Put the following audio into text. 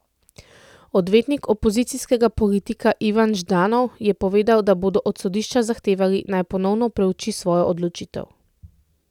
Odvetnik opozicijskega politika Ivan Ždanov je povedal, da bodo od sodišča zahtevali, naj ponovno preuči svojo odločitev.